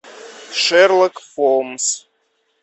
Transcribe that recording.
шерлок холмс